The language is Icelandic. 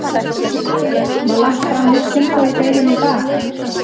Gunnar Atli: Var lagt fram nýtt tilboð í deilunni í dag?